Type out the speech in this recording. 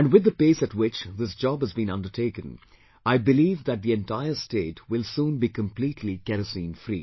And with the pace at which this job has been undertaken, I believe that the entire state will soon be completely Kerosene free